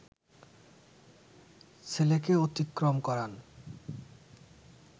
ছেলেকে অতিক্রম করান